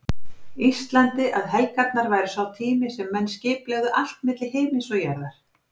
Íslandi að helgarnar væru sá tími sem menn skipulegðu allt milli himins og jarðar.